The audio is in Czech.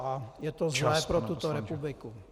A je to zlé pro tuto republiku.